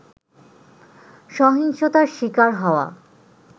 সহিংসতার শিকার হওয়া